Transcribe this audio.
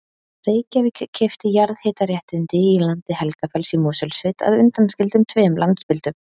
Reykjavík keypti jarðhitaréttindi í landi Helgafells í Mosfellssveit að undanskildum tveimur landspildum.